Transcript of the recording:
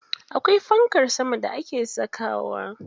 Akwai fankar sama da ake sakawa.